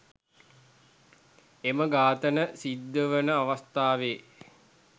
එම ඝාතන සිද්ධවන අවස්ථාවේ